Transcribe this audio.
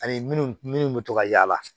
Ani minnu bɛ to ka yaala